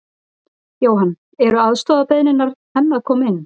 Jóhann: Eru aðstoðarbeiðnir enn að koma inn?